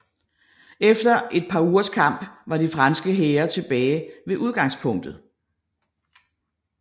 Efter et par ugers kamp var de franske hære tilbage ved udgangspunktet